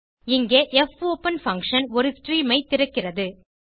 இங்கே popen function ஒரு stream ஐ திறக்கிறது